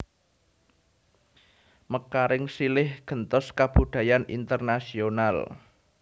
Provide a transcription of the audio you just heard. Mekaring silih gentos kabudayan internasional